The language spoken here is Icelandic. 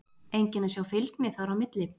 Enginn að sjá fylgni þar á milli?